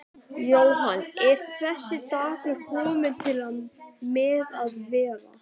Jóhann: Er þessi dagur kominn til með að vera?